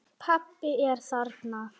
Pabbi er þarna.